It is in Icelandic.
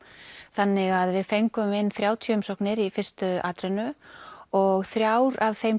þannig að við fengum inn þrjátíu umsóknir í fyrstu atrennu og þrjár af þeim